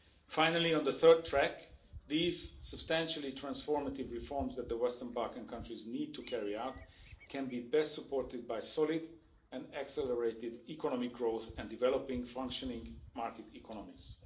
Finally, on the third track, these substantially transformative reforms that the Western Balkan countries need to carry out can be best supported by solid and accelerated economic growth and developing functioning market economies.